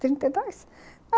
Trinta e dois.